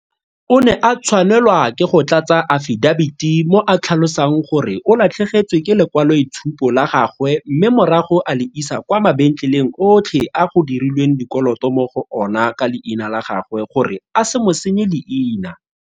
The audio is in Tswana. O ne a tshwanelwa ke go tlatsa afidabiti mo a tlhalosang gore o latlhegetswe ke lekwaloitshupo la gagwe mme morago a le isa kwa mabentleleng otlhe a go dirilweng dikoloto mo go ona ka leina la gagwe gore a se mo senye leina.